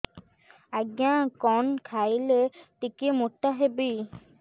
ଆଜ୍ଞା କଣ୍ ଖାଇଲେ ଟିକିଏ ମୋଟା ହେବି